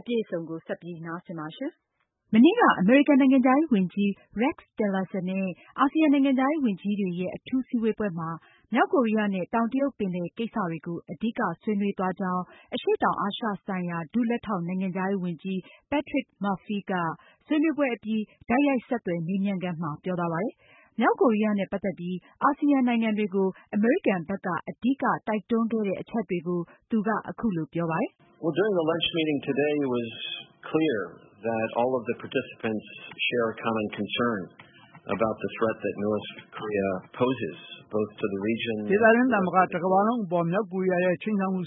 အပြည့်အစုံကို ဆက်လက်တင်ပြမှာပါ။ မနေ့က အမေရိကန်နိုင်ငံခြားရေးဝန်ကြီး Rex Tillerson နဲ့ အာဆီယံနိုင်ငံခြားရေးဝန်ကြီးတွေရဲ့ အထူးစည်းဝေးပွဲမှာ မြောက်ကိုးရီးယားနဲ့ တောင်တရုတ်ပင်လယ် ကိစ္စတွေကို အဓိကဆွေးနွေးသွားကြောင်း အရှေ့တောင်အာရှဆိုင်ရာ ဒုလက်ထောက် နိုင်ငံခြားရေးဝန်ကြီး Patrick Murphy က ဆွေးနွေးပွဲအပြီး တိုက်ရိုက်ဆက်သွယ်မေးမြန်းခန်းမှာ ပြောသွားပါတယ်။ မြောက်ကိုရီးယားနဲ့ ပတ်သက်ပြီး အာဆီယံနိုင်ငံတွေကို အမေရိကန်ဘက်က အဓိကတိုက်တွန်းခဲ့တဲ့ အချက်တွေကို သူက အခုလို ပြောသွားပါတယ်။ “ဒေသတွင်းသာမက တကမ္ဘာလုံးကို မြောက်ကိုရီးယားရဲ့ ခြိမ်းခြောက်မှု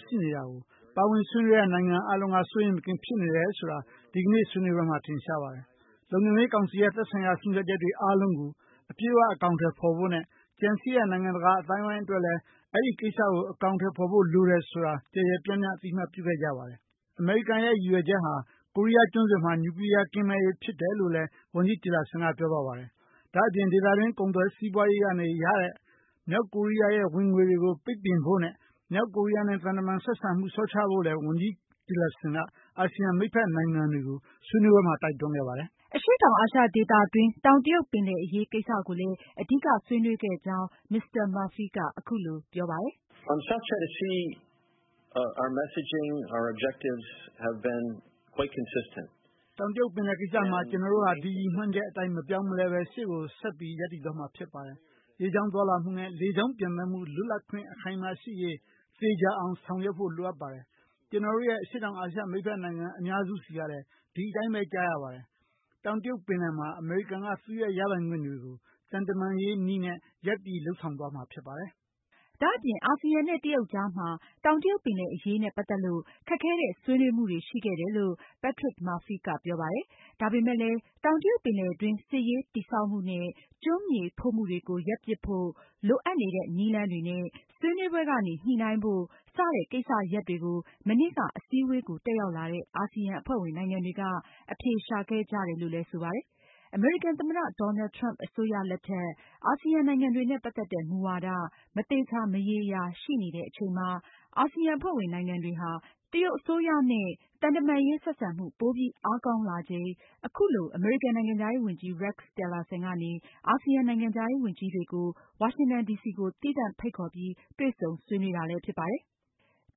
အပေါ်မှာ ပါဝင်ဆွေးနွေးတဲ့ နိုင်ငံအားလုံးက စိုးရိမ်မကင်းဖြစ်နေကြတယ်ဆိုတာ နေ့လည်စာ သုံးဆောင်ရင်း ပြုလုပ်တဲ့ ဆွေးနွေးပွဲမှာ ထင်ရှားပါတယ်။ လုံခြုံရေးကောင်စီရဲ့ သက်ဆိုင်ရာဆုံးဖြတ်ချက်တွေအားလုံးကို အပြည့်အဝအကောင်အထည်ဖေါ်ဖို့နဲ့ ကျန်ရှိတဲ့ နိုင်ငံတကာအသိုင်းအဝိုင်းအတွက် လည်း အဲဒီကိစ္စကို အထောင်အထည်ဖေါ်ဖို့ လိုတယ်ဆိုတာကိုလည်း ကျယ်ကျယ်ပြန့်ပြန့် အသိအမှတ်ပြုခဲ့ကြပါတယ်။ အမေရိကန်ရဲ့ ရည်ရွယ်ချက်ဟာ ကိုရီးယားကျွန်းဆွယ်မှာ နျူကလီယားကင်းမဲ့ရေးဖြစ်တယ်လို့လည်း ဝန်ကြီး Tillerson ကပြောသွားပါတယ်။ ဒါ့အပြင် ဒေသတွင်း ကုန်သွယ်စီးပွားရေးကနေ ရနေတဲ့ မြောက်ကိုရီးယားရဲ့ ဝင်ငွေတွေကို ပိတ်ပင်ဖို့နဲ့ မြောက်ကိုရီးယားနဲ့ သံတမန်ရေးဆက်ဆံမှု လျော့ချဖို့ ဝန်ကြီး Tillerson က အာဆီယံ မိတ်ဖက်နိုင်ငံတွေကို ဆွေးနွေးပွဲမှာ တိုက်တွန်းခဲ့ပါတယ်။” အရှေ့တောင်အာရှဒေသတွင်း တောင်တရုတ်ပင်လယ်အရေးကိစ္စကိုလည်း အဓိကဆွေးနွေးခဲ့ကြောင်း Mr. Murphy က အခုလို ပြောသွားပါတယ်။ “တောင်တရုတ်ပင်လယ်ကိစ္စမှာ ကျနော်တို့ဟာ ဒီ ရည်မှန်းချက်အတိုင်း မပြောင်းမလဲပဲ ရှေ့ကို ဆက်ပြီး သွားမှာဖြစ်ပါတယ်။ ရေကြောင်းသွားလာမှုနဲ့ လေကြောင်းပျံသန်းမှု လွတ်လပ်ခွင့် အခိုင်အမာရှိရေး သေချာအောင်ဆောင်ရွက်ဖို့ လိုအပ်ပါတယ်။ ကျနော်တို့ရဲ့ အရှေ့တောင်အာရှ မိတ်ဖက်နိုင်ငံအများစုဆီကလည်း ဒီအတိုင်းပဲ ကြားရပါတယ်။ တောင်တရုတ်ပင်လယ်မှာ အမေရိကန်က သူရဲ့ရပိုင်ခွင့်တွေကို သံတမန်ရေးနည်းနဲ့ ရပ်တည်ဖေါ်ထုတ်သွားမှာဖြစ်ပါတယ်။” ဒါအပြင် အာဆီယံနဲ့ တရုတ်ကြားမှာ တောင်တရုတ်ပင်လယ်အရေးနဲ့ပတ်သက်လို့ ခက်ခဲတဲ့ ဆွေးနွေးမှုတွေရှိခဲ့တယ်လို့ Patrick Murphy ကပြောပါတယ်။ ဒါပေမဲ့လည်း တောင်တရုတ်ပင်လယ်တွင်း စစ်ရေးတည်ဆောက်မှုနဲ့ ကျွန်းမြေဖို့မှုတွေကို ရပ်ပစ်ဖို့ လိုအပ်နေတဲ့ နည်းလမ်းတွေနဲ့ ဆွေးနွေးပွဲကနေ ညှိုနှိုင်းဖို့ စတဲ့ကိစ္စရပ်တွေကို မနေ့က အစည်းအဝေးကို တက်ရောက်လာတဲ့ အာဆီယံ အဖွဲ့ဝင်နိုင်ငံတွေက အဖြေရှာခဲ့ကြတယ်လို့ လည်းဆိုပါတယ်။ အမေရိကန်သမ္မတ Donald Trump အစိုးရ လက်ထက် အာဆီယံနိုင်ငံတွေနဲ့ ပတ်သက်တဲ့ မူဝါဒ မသေချာမရေရာရှိနေတဲ့အချိန်မှာ အာဆီယံအဖွဲ့ဝင် နိုင်ငံတွေဟာ တရုတ်အစိုးရရဲ့ သံတမန်ရေးဆက်ဆံမှု ပိုပြီး အားကောင်းလာချိန် အခုလို အမေရိကန်နိုင်ငံခြားရေးဝန်ကြီး Rex Tillerson ကနေ အာဆီယံနိုင်ငံခြားရေးဝန်ကြီးတွေကို ဝါရှင်တန်ဒီစီကို သီးသန့် ဖိတ်ခေါ်ပြီး တွေ့ဆုံဆွေးနွေးတာဖြစ်ပါတယ်။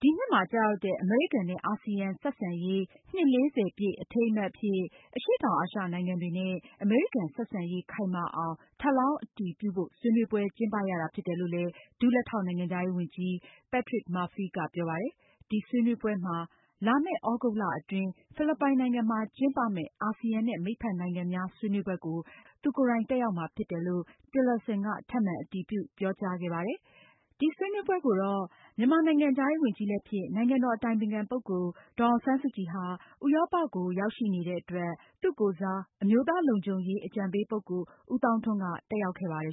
ဒီနှစ်မှာကျရောက်တဲ့ အမေရိကန်နဲ့ အာဆီယံ ဆက်ဆံရေး နှစ် ပြည့် အထိမ်းအမှတ်အဖြစ် အရှေ့တောင်အာရှနိုင်ငံတွေနဲ့ အမေရိကန် ဆက်ဆံရေးခိုင်မာအောင် ထပ်လောင်းအတည်ပြုဖို့ ဆွေးနွေးပွဲ ကျင်းပရတာဖြစ်တယ်လို့ ဒုလက်ထောက် နိုင်ငံခြားရေးဝန်ကြီး Patrick Murphy ကပြောပါတယ်။ ဒီဆွေးနွေးပွဲမှာ လမယ့် သြဂုတ်လအတွင်း ဖိလစ်ပိုင်နိုင်ငံမှာကျင်းပမယ့် အာဆီယံနဲ့ မိတ်ဖက်နိုင်ငံများ ဆွေးနွေးပွဲကို တက်ရောက်မှာဖြစ်တယ်လို့ Tillerson က ထပ်မံ အတည်ပြုပြောကြားခဲ့တယ်။ ဒီဆွေးနွေးပွဲကို ဥရောပနိုင်ငံတွေကို ရောက်ရှိနေတဲ့ မြန်မာ နိုင်ငံခြားရေးဝန်ကြီးလည်းဖြစ်၊ နိုင်ငံတော်အတိုင်ပင်ခံပုဂ္ဂိုလ် ဒေါ်အောင်ဆန်းစုကြည် ကိုယ်စား အမျိုးသားလုံခြုံရေးအကြံပေးပုဂ္ဂိုလ် ဦးသောင်းထွန်း တက်ရောက်ခဲ့ပါတယ်